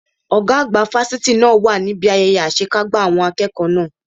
Ọ̀gá àgbà fáfitì náà wà níbi ayẹyẹ àṣekágbá àwọn n akẹ́kọ̀ọ́ náà.